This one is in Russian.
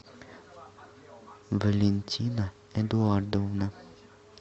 валентина эдуардовна